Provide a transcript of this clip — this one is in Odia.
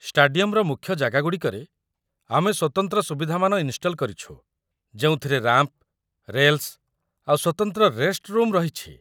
ଷ୍ଟାଡିୟମ୍‌ର ମୁଖ୍ୟ ଜାଗା ଗୁଡ଼ିକରେ, ଆମେ ସ୍ୱତନ୍ତ୍ର ସୁବିଧାମାନ ଇନ୍‌ଷ୍ଟଲ୍‌ କରିଛୁ, ଯେଉଁଥିରେ ରାମ୍ପ୍‌, ରେଲ୍‌ସ୍‌, ଆଉ ସ୍ୱତନ୍ତ୍ର ରେଷ୍ଟରୁମ୍‌ ରହିଛି ।